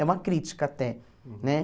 É uma crítica até, né?